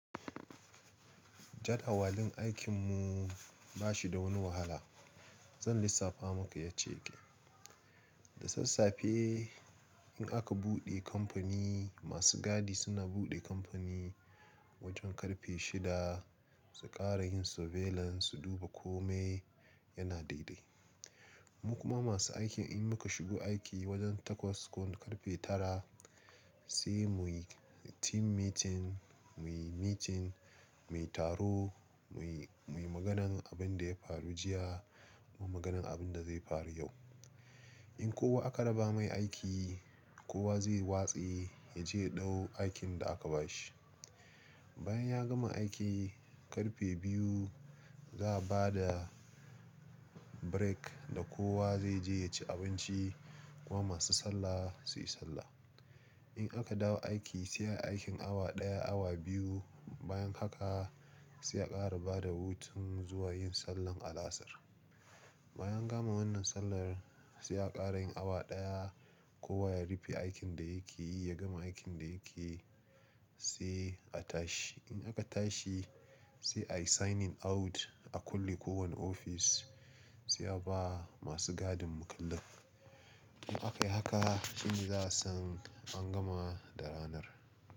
Jadawalin aikin mu ba shi da wani wahala. Zan lissafa maka ya ce ke. Da sassafe in aka buɗe kamfani, masu gadi suna buɗe kamfani wajen karfe shida su ƙara yin surveillance su duba kome yana daidai. Mu kuma masu aiki in muka shigo aiki wajen takwas ko karfe tara sai muyi team meeting, muyi meeting, muyi taro, muyi, muyi maganan abin da ya faru jiya kuma maganan abin da zai faru yau. In kowa aka raba mai aiki, kowa zai watse ya je ɗau aikin da aka bashi. Bayan ya gama aiki karfe biyu za a bada break da kowa zai je ya ci abinci kuma masu sallah su yi sallah. In aka dawo aiki sai a yi aikin awa ɗaya, awa biyu bayan haka sai a ƙara bada hutu zuwa yin sallar alasar. Bayan gama wannan sallar sai a ƙara yin awa ɗaya kowa ya rufe aikin da yake yi, ya gama aikin da yake sai a tashi. In aka tashi sai ayi signing out a kulle kowane ofis sai a ba masu gadin makullin In aka yi haka shine za a san an gama da ranar.